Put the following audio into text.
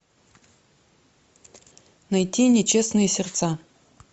найти нечестные сердца